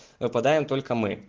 выпадаем только мы